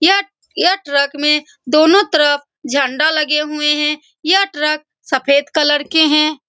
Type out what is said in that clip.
यह यह ट्रक में दोनों तरफ झंडा लगे हुए हैं यह ट्रक सफ़ेद कलर के हैं ।